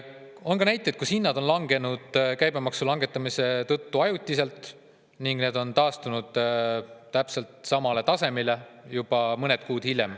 On ka näiteid, kus hinnad on käibemaksu langetamise tõttu vaid ajutiselt langenud ja taastunud täpselt samale tasemele juba mõned kuud hiljem.